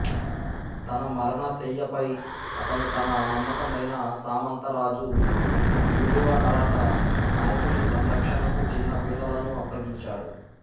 తన మరణశయ్యపై అతను తన నమ్మకమైన సామంతరాజు తుళువ నరస నాయకుని సంరక్షణకు చిన్న పిల్లలను అప్పగించాడు